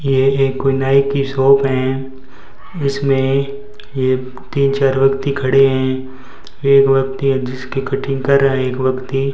ये एक कोई नाई की शॉप है जिस में ये तीन चार व्यक्ति खड़े हैं एक व्यक्ति है जिसकी कटिंग कर रहे हैं एक व्यक्ति।